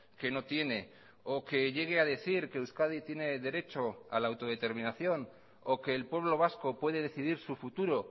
que no tiene o que llegue a decir que euskadi tiene derecho a la autodeterminación o que el pueblo vasco puede decidir su futuro